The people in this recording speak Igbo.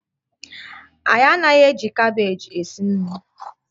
Anyị anaghị eji kabeeji esi nri